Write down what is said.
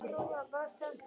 Alltaf blíð.